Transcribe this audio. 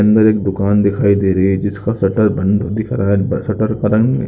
अंदर एक दुकान दिखाई दे रही है जिसका शटर बंद दिख रहा है ब शटर पता नहीं --